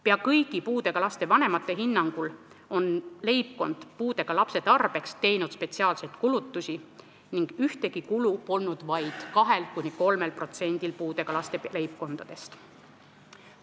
Peaaegu kõigi puudega laste vanemate hinnangul on leibkond puudega lapse tarbeks teinud spetsiaalseid kulutusi ning ühtegi kulu polnud vaid 2–3%-l puudega laste leibkondadest.